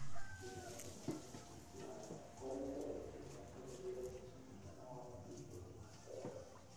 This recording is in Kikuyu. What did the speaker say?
Wĩra wa gwaka mũthingi wayo ũkoretwo ũgĩtũma tũhũthĩre mbeca mwĩgana wa mabirioni ma ndora.